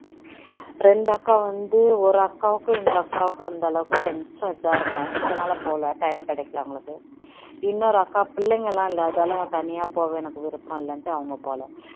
இரண்டு அக்கா வந்து ஒரு அக்காக்கும் இந்த அக்காவுக்கும் அந்த அளவுக்கு கொஞ்சம் இதா இருக்கும் அதனால போகல time கிடைக்கல அவனக்ளுக்கு இன்னொரு அக்கா பிள்ளைனக்ளாம் இல்ல அதனால தனியா போக எனக்கு விருப்பம் இல்ல அப்படின்னு அவங்க போல